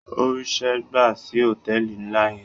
Ó ríṣẹ́ gbà sí hòtéẹ̀lì ńlá yẹn.